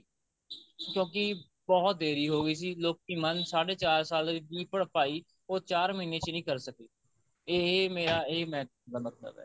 ਕਿਉਂਕਿ ਬਹੁਤ ਦੇਰੀ ਹੋ ਗਈ ਸੀ ਲੋਕੀ ਮੰਨ ਸਾਡੇ ਚਾਰ ਸਾਲ ਦੀ ਭਰਪਾਈ ਉਹ ਚਾਰ ਮਹੀਨੇ ਚ ਨਹੀਂ ਕਰ ਸਕੇ ਇਹ ਮੇਰਾ ਇਹਦਾ ਇਹ ਦਾ ਮਤਲਬ ਹੈ